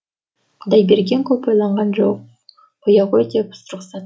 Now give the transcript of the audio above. құдайберген көп ойланған жоқ қоя ғой деп рұқсат